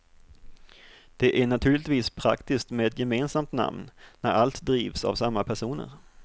Det är naturligtvis praktiskt med ett gemensamt namn, när allt drivs av samma personer.